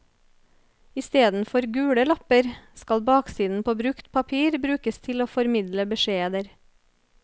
Istedenfor gule lapper, skal baksiden på brukt papir brukes til å formidle beskjeder.